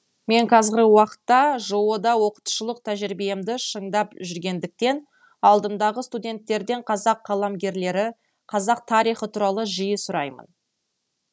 мен қазырғы уақытта жоо да оқытушылық тәжірибемді шыңдап жүргендіктен алдымдағы студенттерден қазақ қаламгерлері қазақ тарихы туралы жиі сұраймын